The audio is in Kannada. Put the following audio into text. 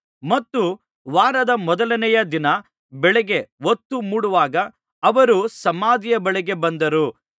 ಮತ್ತು ವಾರದ ಮೊದಲನೆಯ ದಿನದ ಬೆಳಿಗ್ಗೆ ಹೊತ್ತು ಮೂಡುವಾಗ ಅವರು ಸಮಾಧಿಯ ಬಳಿಗೆ ಬಂದರು